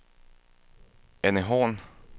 Anne Horn